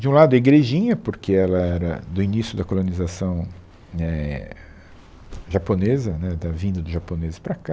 De um lado a igrejinha, porque ela era do início da colonização éh japonesa, né da vinda dos japoneses para cá.